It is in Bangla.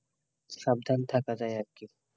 সাবধান থাকা যায় আরকি,